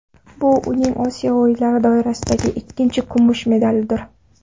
Bu uning Osiyo o‘yinlari doirasidagi ikkinchi kumush medalidir.